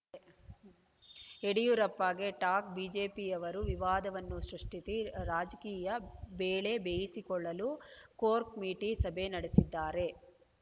ಯಡಿಯೂರಪ್ಪಗೆ ಟಾಗ್‌ ಬಿಜೆಪಿಯವರು ವಿವಾದವನ್ನು ಸೃಷ್ಟಿಸಿ ರಾಜಕೀಯ ಬೇಳೆ ಬೇಯಿಸಿಕೊಳ್ಳಲು ಕೋರ್‌ಕಮಿಟಿ ಸಭೆ ನಡೆಸಿದ್ದಾರೆ